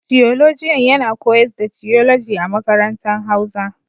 Tiyolojian yana koyars da tiyoloji a makarantan hauza.